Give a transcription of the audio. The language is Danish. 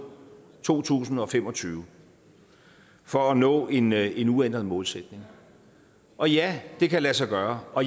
to tusind og fem og tyve for at nå en en uændret målsætning og ja det kan lade sig gøre og